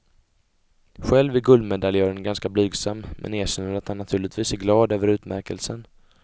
Själv är guldmedaljören ganska blygsam men erkänner att han naturligtvis är glad över utmärkelsen.